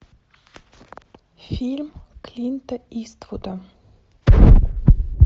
фильм клинта иствуда